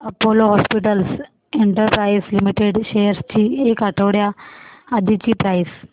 Apollo hospitals enterprise limited shares ची एक आठवड्या आधीची प्राइस